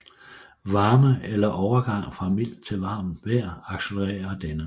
Varme eller en overgang fra mildt til varmt vejr accelererer denne